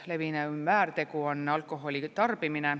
Levinum väärtegu on alkoholi tarbimine.